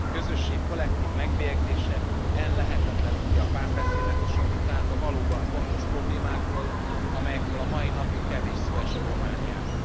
Egy közösség kollektív megbélyegzése ellehetetlenítheti a párbeszédet és a vitát a valóban fontos problémákról, amelyekről a mai napig kevés szó esik Romániában.